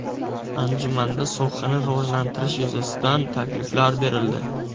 Anjumanda sohani rivojlantirish yuzasidan takliflar berildi.